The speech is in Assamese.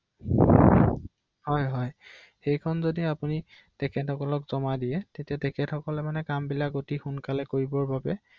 ইয়াতে কৰিব পাৰিম ন ৷অ